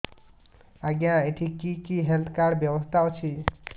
ଆଜ୍ଞା ଏଠି କି କି ହେଲ୍ଥ କାର୍ଡ ବ୍ୟବସ୍ଥା ଅଛି